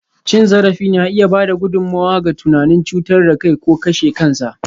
Cin zarafi na iya ba da gudummawa ga tunanin cutar da kai ko kashe kansa.